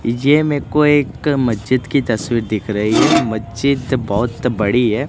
ये मे को एक मस्जिद की तस्वीर दिख रही है मस्जिद बहोत बड़ी है।